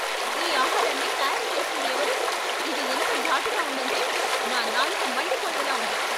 ఈ ఆహారాన్ని తయారు చేసింది ఎవరు? ఇది ఎంత ఘాటుగా ఉందంటే, నా నాలుక మండిపోయేలా ఉంది.